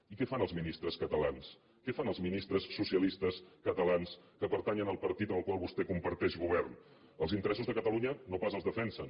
i què fan els ministres catalans què fan els ministres socialistes catalans que pertanyen al partit amb el qual vostè comparteix govern els interessos de catalunya no pas els defensen